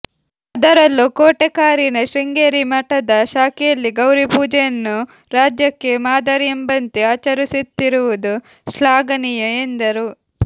ಅದರಲ್ಲೂ ಕೋಟೆಕಾರಿನ ಶೃಂಗೇರಿ ಮಠದ ಶಾಖೆಯಲ್ಲಿ ಗೌರಿ ಪೂಜೆಯನ್ನು ರಾಜ್ಯಕ್ಕೆ ಮಾದರಿಯೆಂಬಂತೆ ಆಚರಿಸುತ್ತಿರುವುದು ಶ್ಲಾಘನೀಯ ಎಂದರು